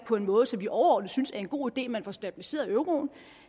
på en måde som vi overordnet synes er en god idé for man får stabiliseret euroen